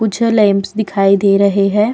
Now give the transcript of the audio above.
कुछ लेंपस दिखाई दे रहे है।